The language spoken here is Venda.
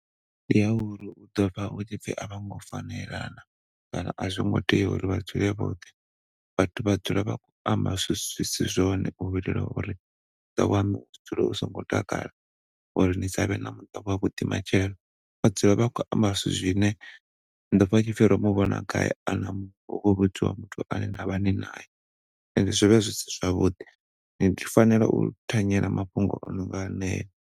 Ndi ya uri huḓo vha hu tshipfi a vhongo fanelana kana a zwi ngo tea uri vha dzule vhoṱhe. Vhathu vha dzula vha khou amba zwithu zwi si zwone u itela uri zwawe vha wane u tshi dzula songo takala uri ni savhe na muṱa wavhuḓi matshelo. Vha dzula vha khou amba zwithu zwine ḓo pfa hu tshipfi ro mu vhona gai ana muṅwe muthu na vha ni naye and zwi vha zwisi zwavhuḓi. Ni fanela u thanyela mafhungo ano nga heneyo.